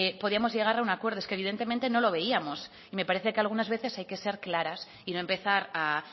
podíamos llegar a un acuerdo es que evidentemente no lo veíamos y me parece que algunas veces hay que ser claras y no empezar a